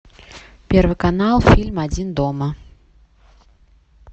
первый канал фильм один дома